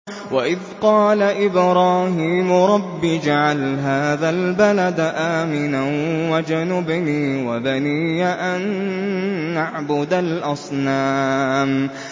وَإِذْ قَالَ إِبْرَاهِيمُ رَبِّ اجْعَلْ هَٰذَا الْبَلَدَ آمِنًا وَاجْنُبْنِي وَبَنِيَّ أَن نَّعْبُدَ الْأَصْنَامَ